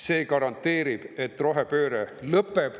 See garanteerib, et rohepööre lõpeb.